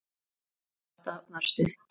Hans barátta var stutt.